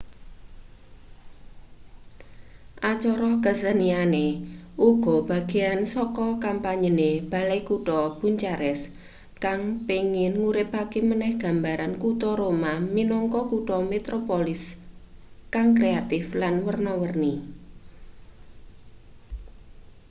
acara keseniane uga bagean saka kampanyene balai kutha bucharest kang pengin nguripake maneh gambaran kuta roma minangka kutha metropolis kang kreatif lan werna-werni